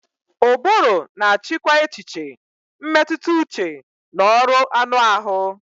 Ụbụrụ na-achịkwa echiche, mmetụta uche na ọrụ anụ ahụ.